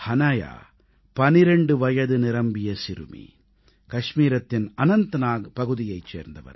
ஹனாயா 12 வயது நிரம்பிய சிறுமி கஷ்மீரத்தின் அனந்த்நாக் பகுதியைச் சேர்ந்தவர்